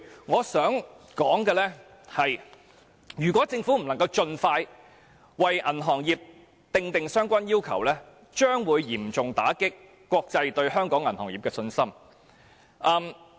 我想指出，如果政府不能盡快為銀行業訂定相關要求，將會嚴重打擊國際對香港銀行業的信心。